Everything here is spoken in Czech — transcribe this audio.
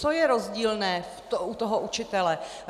Co je rozdílné u toho učitele?